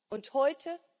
Und heute?